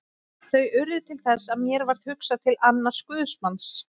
Þau urðu til þess að mér varð hugsað til annars guðsmanns.